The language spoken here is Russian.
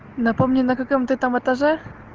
напомни на каком ты там этаже